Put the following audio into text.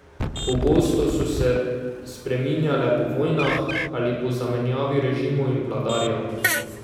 Pogosto so se spreminjale po vojnah ali po zamenjavi režimov in vladarjev.